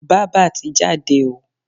Bába ti jáde o.